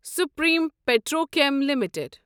Supreme Petrochem limited